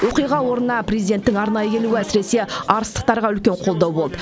оқиға орнына президенттің арнайы келуі әсіресе арыстықтарға үлкен қолдау болды